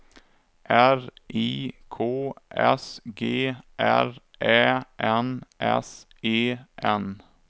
R I K S G R Ä N S E N